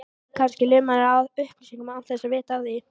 Kannski lumarðu á upplýsingum án þess að vita af því.